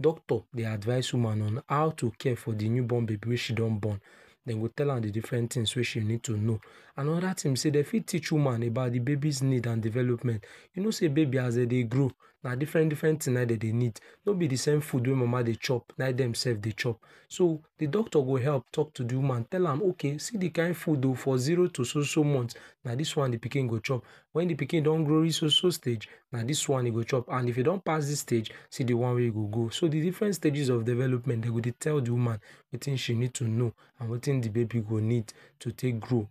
Doctor dey advice woman on how to care for de new born baby wey she don born. Dem go tell am de different things wey she needs to know. Another thing be sey dem fit teach woman about de baby's need and development. You know sey babies as dey dey grow, na different different things na im dey dey need. No be de same thing food mama de chop na im dem sef dey chop, so de doctor self go help talk to de woman tell am okay see de kind food oh for Zero to soso month na this one de pikin go chop. When de pikin do grow reach soso stage, na this one e go chop and if e don pass this stage, see de one wey you go go. So de different stages of development dem go dey tell de woman wetin she needs to know and wetin de baby go need to take grow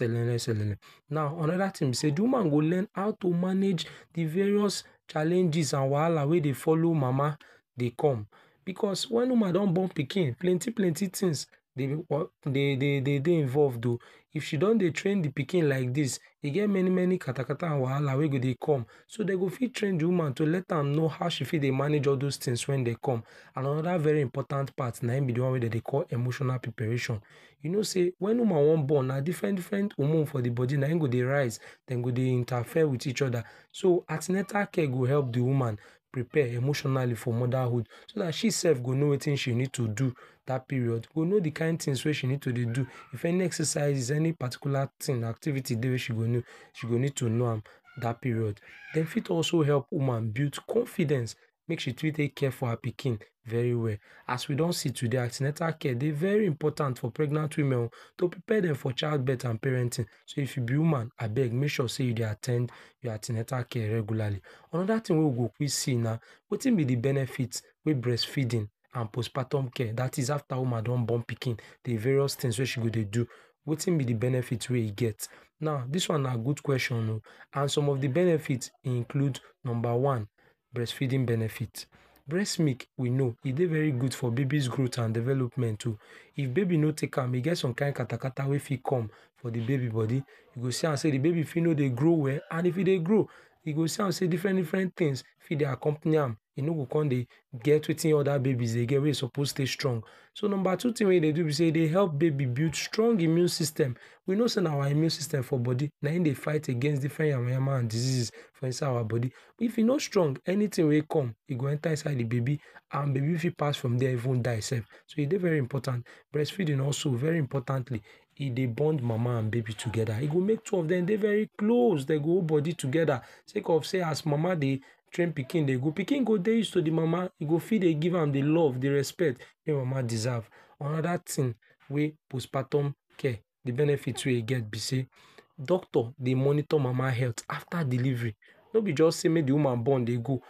um. Now another thing be sey woman go learn how to manage de various challenges and wahala wey dey follow mama dey come. Because when woman don born pikin plenty plenty things dey um dey dey involved oh. If she don dey train de pikin like this, e get many many katakata and wahala wey go dey come so dey go fit train de woman to dey let am know how she fit dey manage all those things when dey come and another very important part na be de one wey dey dey call emotional preparation, you know say wen woman wan born na different different hormone for de body na im dey go dey raise dem go dey interfere with each other, so an ten atal care go help de woman prepare emotional for motherhood, so na she sef go know wetin she need to do at dat period go know de kain tings wey she need to dey do if any exercises any particular ting, activities she go know, she go need to know am dat period. Dem fit also help woman build confidence mek she care for her pikin very well. As we don see today an ten atal care dey very important for pregnant woman o to prepare dem for child birth and parenting so if you be woman abeg make sure say you dey at ten d your an ten atal care regularly. Another thing wey we go quick say na, wetin be de benefits wey breastfeeding and postpartum care that is after woman don born pikin de various things wey she go dey do, wetin be de benefits wey e get. Now this one na good question um. And some of de benefits include number one, Breastfeeding benefits breast milk we know e dey very good for de baby's growth and development oh. If baby no take am e get some kind katakata wey fit come for de baby body, you go see am sey de baby fit no grow well and if e dey grow, you go see am sey different different things fit dey accompany am. E no go come dey get wetin other babies dey get wet e suppose stay strong. So number two thing wey e dey do be sey e dey help baby build strong immune system. We know sey na our immune system for body na im dey fight different yamayama and diseases for inside this our body. If e no strong, anything wey come, e go enter inside de baby and de baby for pass from dey even die sef. So e dey very important, breastfeeding also very importantly e dey bond mama and pikin together, e go make two of dem dey very close dey go hold body together say cause sey as mama dey train pikin dey go, pikin do use to de mama, e go fit dey give am de love de respect wey mama deserve. Another thing wey postpartum care, de benefits wey e get be sey, Doctor dey monitor mama health after delivery no be just sey make dem woman born dey go,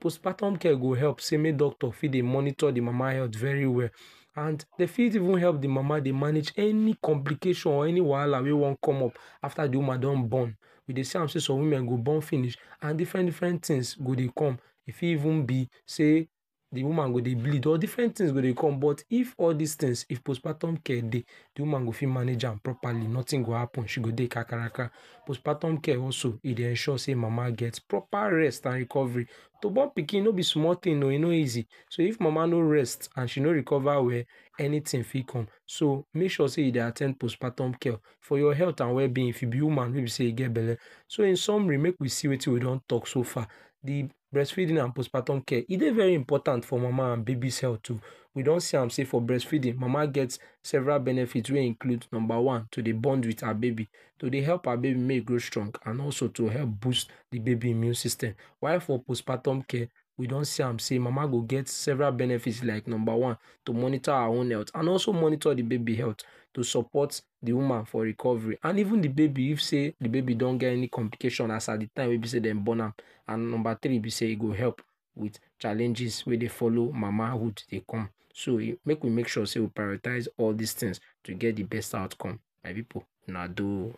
postpartum care go help sey make doctor fit dey monitor de mama health very well. And dey fit even help de mama dey manage any complications or any wahala wey wan come up after de woman do born. We dey see am sey some women go born finish and different different things go dey come. E fit even be sey de woman go dey bleed or different different things for dey come, but if all dis things if postpartum care dey de woman go fit manage am properly nothing go happen, she go dey kakaraka. Postpartum care also e dey ensure sey mama get proper rest and recovery. To born pikin no be small thing oh. E no easy so if mama no rest and she no recover well anything fit come so make sure sey you dey at ten d postpartum care for your health and wellbeing if you be woman wey be sey e get belle. So in summary, make we see wetin we don talk so far. De breastfeeding and postpartum care e dey very important for mama and baby health um. We don see am sey for breastfeeding mama get several benefits wey include, number one, to dey bond with her baby, to dey help her baby make e grow strong and also to help boost de baby immune system. While for postpartum care, we don see am sey, mama go get several benefits like number one, to monitor her own health and also monitor de baby health. To support support de woman for recovery and even dey baby if sey de baby don get any complication as at de time wey e be sey dem born am. And number three be sey e go help with challenges wey dey follow mamahood dey come. So make we make sure sey we prioritize all these things to get de best outcome. My people, una um.